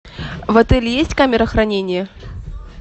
в отеле есть камера хранения